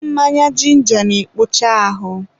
mmanya jinja na-ekpocha ahụ.